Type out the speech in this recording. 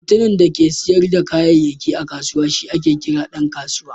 Mutumin da yake siyar da kayayyaki a kusawa shi ake kira Dan kasuwa.